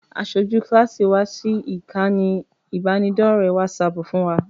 Aṣojú kíláàsì wa sí ìkànnì ìbánidọ́ọ̀rẹ́ wásaaàpù fún wa